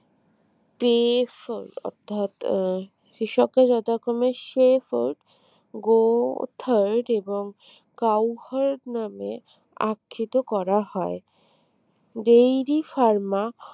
অর্থাৎ কৃষকরা যথাক্রমে সে ford go third এবং cow hut নামে আঁক্ষিত করা হয় dairy pharma